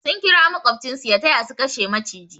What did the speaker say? Sun kira makobcin su ya taya su kashe maciji.